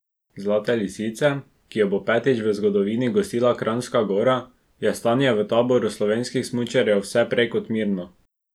Zlate lisice, ki jo bo petič v zgodovini gostila Kranjska Gora, je stanje v taboru slovenskih smučarjev vse prej kot mirno.